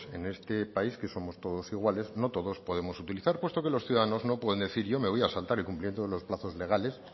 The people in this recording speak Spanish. en este país que somos todos iguales no todos podemos utilizar puesto que los ciudadanos no pueden decir yo me voy a saltar el cumplimiento de los plazos legales